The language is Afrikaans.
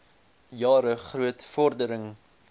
jare groot vordering